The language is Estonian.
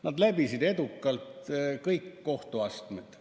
Nad läbisid edukalt kõik kohtuastmed.